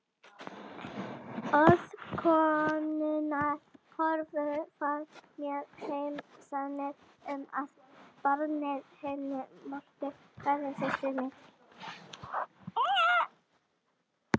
Orð konunnar höfðu fært mér heim sanninn um að barnið hennar Mörtu væri systkini mitt.